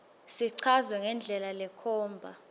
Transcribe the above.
sichazwe ngendlela lekhomba